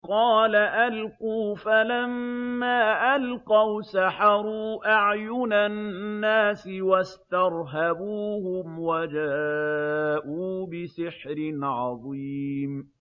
قَالَ أَلْقُوا ۖ فَلَمَّا أَلْقَوْا سَحَرُوا أَعْيُنَ النَّاسِ وَاسْتَرْهَبُوهُمْ وَجَاءُوا بِسِحْرٍ عَظِيمٍ